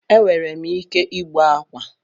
Enwerem ike igbu akwa